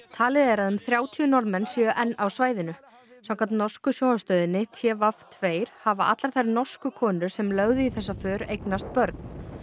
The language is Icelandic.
talið er að um þrjátíu Norðmenn séu enn á svæðinu samkvæmt norsku sjónvarpsstöðinni t v tveggja hafa allar þær norsku konur sem lögðu í þessa för eignast börn